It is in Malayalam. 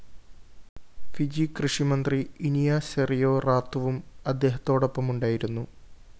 ഫിജി കൃഷിമന്ത്രി ഇനിയ സെറിയോ റാത്തുവും അദ്ദേഹത്തോടൊപ്പമുണ്ടായിരുന്നു